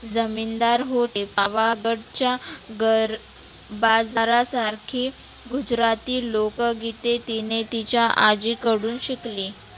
जमिनदार होते. च्या गर बाजारा सारखी गुजराती लोकं ते तिने तिच्या आजी कडुन शिकली.